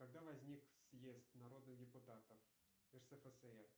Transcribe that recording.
когда возник съезд народных депутатов рсфср